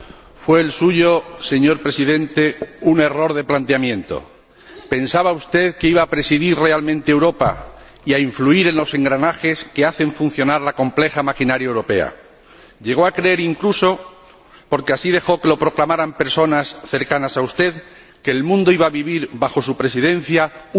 Señor Presidente, señor Rodríguez Zapatero, fue el suyo un error de planteamiento. Pensaba usted que iba a presidir realmente Europa y a influir en los engranajes que hacen funcionar la compleja maquinaria europea. Llegó a creer, incluso, porque así dejó que lo proclamaran personas cercanas a usted, que el mundo iba a vivir bajo su Presidencia un momento estelar.